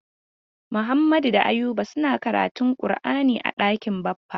Muhammadu da Ayuba suna karantun kur'ani a ɗakin Baffa.